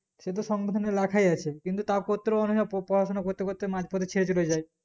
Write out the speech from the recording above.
সেতো সংবিধানে লাখাই আছে কি তা পত্রেও অনিক জানা পপড়াশোনা করতে করতে মাঝপথে ছেড়ে চলে যাই